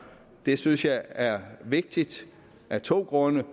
det synes jeg er vigtigt af to grunde